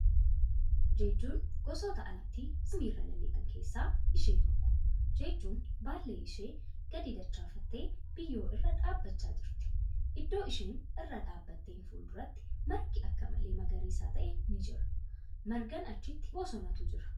Jejjuun gosoota allaattii samii irra balal'ian keesssa ishee tokko. Jejjuun baallee ishee gadi dachaafattee biyyoo irra dhaabbachaa jirti. Iddoo isheen irra dhaabatteen fuulduratti margi akka malee magariisa ta'e ni jira. Margaan achitti bosonatu jira.